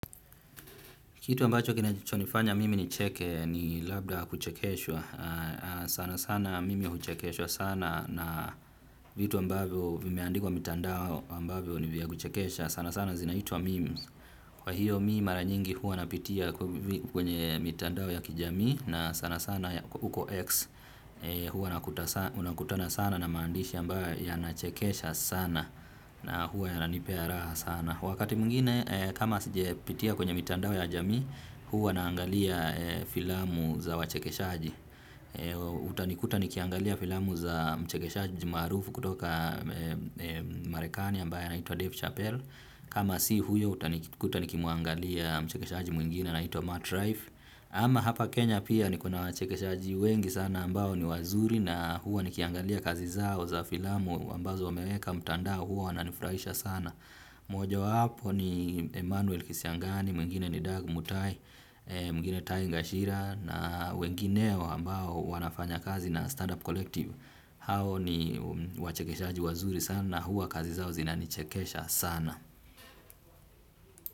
Kitu ambacho kinachonifanya mimi nicheke ni labda kuchekeshwa, sana sana mimi huchekeshwa sana na vitu ambavyo vimeandikwa mitandao ambavyo ni vya kuchekesha, sana sana zinaitwa memes, kwa hiyo mimi mara nyingi huwa napitia kwenye mitandao ya kijamii na sana sana huko X huwa nakutana sana na maandishi ambayo yanachekesha sana na huwa yananipea raha sana. Wakati mwingine kama sija pitia kwenye mitandao ya jamii huwa na angalia filamu za wachekeshaji. Utanikuta nikiangalia filamu za mchekeshaji maarufu kutoka marekani ambaye anaitwa Dave Chappell. Kama si huyo utanikuta nikimwangalia mchekeshaji mwingine anaitwa Matt Rife. Ama hapa Kenya pia nikona wachekeshaji wengi sana ambao ni wazuri na huwa nikiangalia kazi zao za filamu ambazo wameweka mtandao huwa wanani furahisha sana. Moja wapo ni Emmanuel Kisiangani, mwingine ni Doug Mutai, mwingine Tai Gashira na wengineo ambao wanafanya kazi na Startup Collective hao ni wachekeshaji wazuri sana na huwa kazi zao zina nichekesha sana.